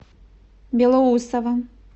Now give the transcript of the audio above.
белоусово